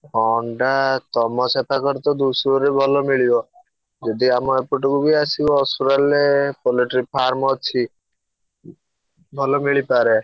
ଅଣ୍ଡା ତମ ସେପାଖରେ ତ ଧୂସୁରୀରୁ ଭଲ ମିଳିବ। ଯଦି ଆମ ଏପଟକୁ ବି ଆସିବ ଅସୁରାଳିରେ, poultry farm ଅଛି ଭଲ ମିଳି ପାରେ।